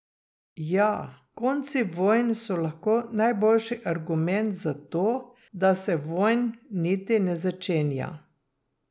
Ja, konci vojn so lahko najboljši argument za to, da se vojn niti ne začenja.